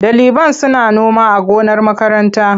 Ɗaliban suna noma a gonar makaranta.